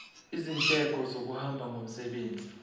izindleko zokuhamba ngomsebenzi